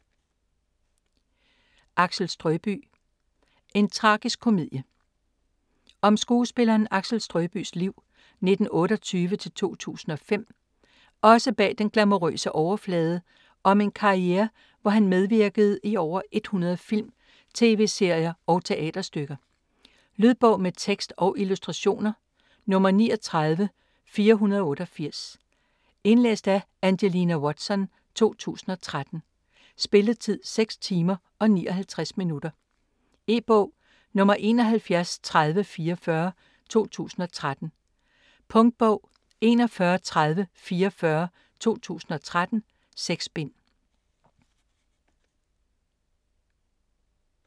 Axel Strøbye: en tragisk komedie Om skuespilleren Axel Strøbyes liv (1928-2005) også bag den glamourøse overflade og om en karriere hvor han medvirkede i over 100 film, tv-serier og teaterstykker. Lydbog med tekst og illustrationer 39488 Indlæst af Angelina Watson, 2013. Spilletid: 6 timer, 59 minutter. E-bog 713044 2013. Punktbog 413044 2013. 6 bind.